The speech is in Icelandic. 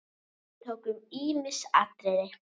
Við tókum ýmis atriði.